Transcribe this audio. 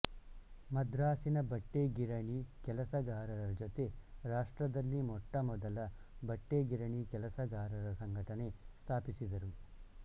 ಮದ್ರಾಸಿನ ಬಟ್ಟೆ ಗಿರಣಿ ಕೆಲಸಗಾರರ ಜೊತೆ ರಾಷ್ಟ್ರದಲ್ಲಿ ಮೊಟ್ಟಮೊದಲ ಬಟ್ಟೆ ಗಿರಣಿ ಕೆಲಸಗಾರರ ಸಂಘಟನೆ ಸ್ಥಾಪಿಸಿದರು